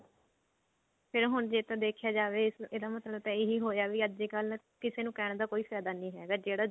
ਤੇ ਹੁਣ ਜੇ ਤਾਂ ਦੇਖਿਆ ਜਾਵੇ ਇਹਦਾ ਮਤਲਬ ਤਾਂ ਇਹੀ ਹੋਇਆ ਵੀ ਅੱਜਕਲ ਕਿਸੇ ਨੂੰ ਕਹਿਣ ਦਾ ਕੋਈ ਫਾਇਦਾ ਨਹੀ ਹੈਗਾ ਜਿਹੜਾ